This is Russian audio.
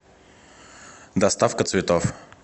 доставка цветов